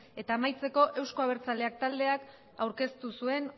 eta amaitzeko euzko abertzaleak taldeak aurkeztu zuen